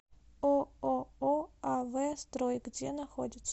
ооо ав строй где находится